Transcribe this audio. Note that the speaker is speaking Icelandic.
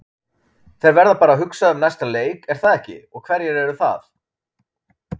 Þeir verða bara að hugsa um næsta leik er það ekki, og hverjir eru það?